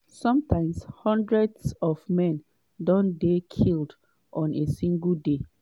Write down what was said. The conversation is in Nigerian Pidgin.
sometimes hundreds of men don dey killed on a single day.